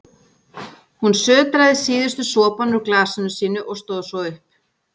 Hún sötraði síðustu sopana úr glasinu sínu og stóð svo upp.